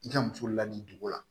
I ka muso ladon cogo la